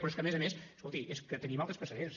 però és que a més a més escolti tenim altres precedents